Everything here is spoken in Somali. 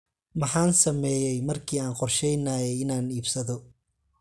Maxaan sameeyay markii aan qorsheynayay inaan iibsado?